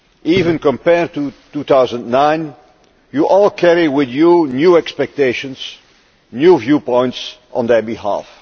Even compared to 2009, you all carry with you new expectations and new viewpoints on their behalf.